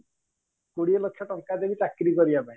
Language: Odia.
କୋଡିଏ ଲକ୍ଷ ଟଙ୍କା ଦେବି ଚାକିରୀ କରିବା ପାଇଁ